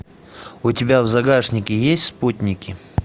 у тебя в загашнике есть спутники